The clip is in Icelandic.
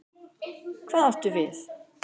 Hvað áttu við?